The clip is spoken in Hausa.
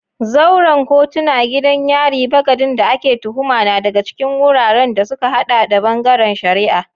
Zauren kotuna, gidan yari, bagadin da ake tuhuma na daga cikin wuraren da suka hada da bangaren shari'a.